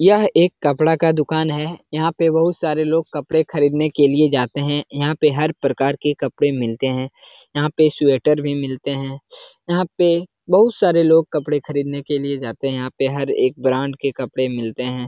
यह कपड़ा का दुकान है। यहाँ पे बहुत से लोग कपड़े खरीद ने के लिए जाते हैं। यहाँ हर प्रकार के कपड़े मिलते हैं। यहाँ पे स्वेटर भी मिलते हैं। यहाँ पे बहुत से लोग कपड़े खरीद ने के लिए जाते हैं। यहाँ पे हर एक ब्रांड के कपड़े मिलते हैं।